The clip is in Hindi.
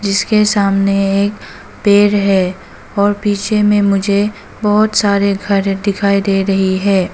इसके सामने एक पेड़ है और पीछे में मुझे बहोत सारे घर दिखाई दे रही है।